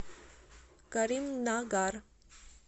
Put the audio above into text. каримнагар